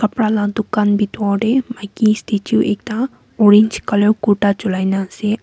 khapra la dukan bitor deh maiki statue ekta orange colour kurta chulai na ase.